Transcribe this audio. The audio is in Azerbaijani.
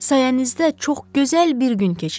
Sayənizdə çox gözəl bir gün keçirdim.